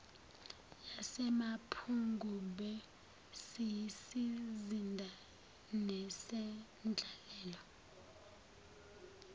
yasemapungubwe siyisizinda nesendlalelo